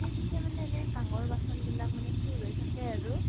পিছে মানে এনে কাহঁৰ বাচন বিলাক মানে চুৰ হৈ থাকে আৰু